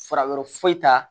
Fara yɔrɔ foyi t'a la